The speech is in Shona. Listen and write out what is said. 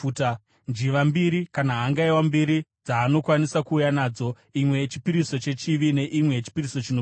njiva mbiri kana hangaiwa mbiri dzaanokwanisa kuuya nadzo, imwe yechipiriso chechivi neimwe yechipiriso chinopiswa.